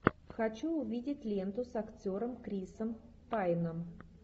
хочу увидеть ленту с актером крисом пайном